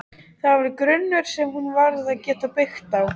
Það var grunnur sem hún varð að geta byggt á.